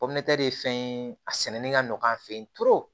ye fɛn ye a sɛnɛni ka nɔgɔn an fɛ yen